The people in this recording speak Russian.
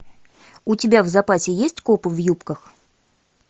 у тебя в запасе есть копы в юбках